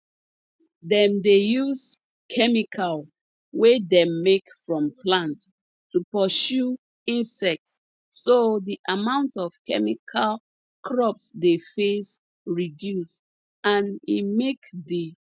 dem dey use chemical wey dem make from plant to pursue insect so de amount of chemical crops dey face reduce and e make de